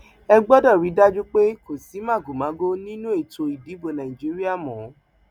ẹ gbọdọ rí i dájú pé kò sí màgòmágó nínú ètò ìdìbò nàìjíríà mọ